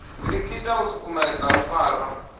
likita u sukumedza u fara